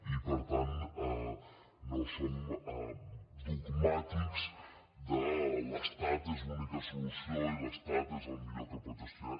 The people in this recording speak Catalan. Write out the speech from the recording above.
i per tant no som dogmàtics de l’estat és l’única solució i l’estat és el millor que pot gestionar